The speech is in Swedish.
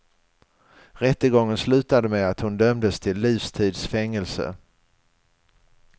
Rättegången slutade med att hon dömdes till livstids fängelse.